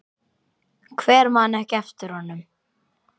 Hver man ekki eftir honum?